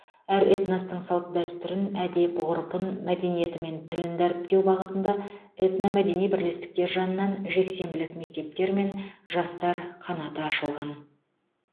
әр этностың салт дәстүрін әдеп ғұрпын мәдениеті мен тілін дәріптеу бағытында этномәдени бірлестіктер жанынан жексенбілік мектептер мен жастар қанаты ашылған